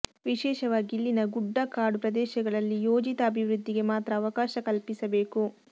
ವಿಶೇಷವಾಗಿ ಇಲ್ಲಿನ ಗುಡ್ಡಗಾಡು ಪ್ರದೇಶಗಳಲ್ಲಿ ಯೋಜಿತ ಅಭಿವೃದ್ಧಿಗೆ ಮಾತ್ರ ಅವಕಾಶ ಕಲ್ಪಿಸಬೇಕು